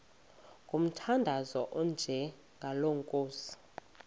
ngomthandazo onjengalo nkosi